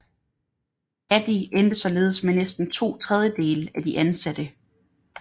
Adi endte således med næsten to tredjedele af de ansatte